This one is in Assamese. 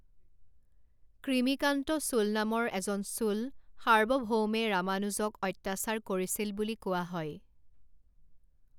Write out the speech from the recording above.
কৃমিকান্ত চোল নামৰ এজন চোল সাৰ্বভৌমে ৰামানুজক অত্যাচাৰ কৰিছিল বুলি কোৱা হয়।